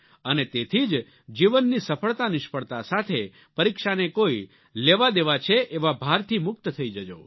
અને તેથી જ જીવનની સફળતાનિષ્ફળતા સાથે પરીક્ષાને કોઈ લેવાદેવા છે એવા ભારથી મુક્ત થઈ જજો